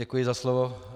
Děkuji za slovo.